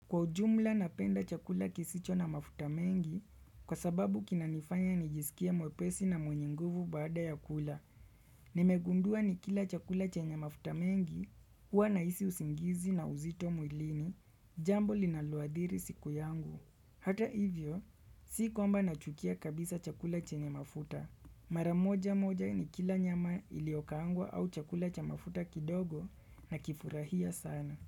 Kwa ujumla napenda chakula kisicho na mafuta mengi, kwa sababu kinanifanya nijisikia mwepesi na mwenye nguvu baada ya kula. Nimegundua nikila chakula chenye mafuta mengi, huwa nahisi usingizi na uzito mwilini, jambo linaloadhiri siku yangu. Hata hivyo, si kwamba nachukia kabisa chakula chenye mafuta. Mara. Moja moja nikila nyama iliokaangwa au chakula cha mafuta kidogo nakifurahia sana.